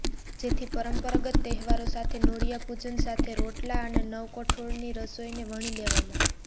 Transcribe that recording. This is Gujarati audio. જેથી પરંપરાગત તહેવારો સાથે નોળિયા પૂજન સાથે રોટલા અને નવકઠોળની રસોઇને વણી લેવામાં